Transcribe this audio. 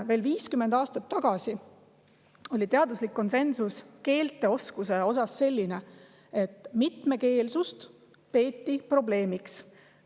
Veel 50 aastat tagasi oli teaduslik konsensus keelteoskuse kohta selline, et mitmekeelsust peeti probleemiks.